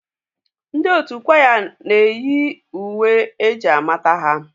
Ndị otu kwaya ụka na-eyi uwe eji amata ha.